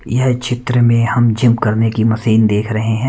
यह चित्र में हम जिम करने की मशीन देख रहे हैं।